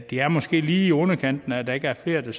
det er måske lige i underkanten at der ikke er flere der